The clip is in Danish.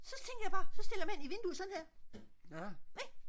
så tænker jeg bare så stiller jeg mig ind i vinduet sådan her ik